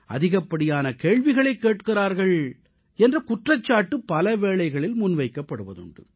அதிகப்படியான கேள்விகளைக் கேட்கிறார்கள் என்ற குற்றச்சாட்டு பல வேளைகளில் முன்வைக்கப்படுவதுண்டு